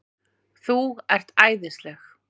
ÞÚ ERT ÆÐISLEG!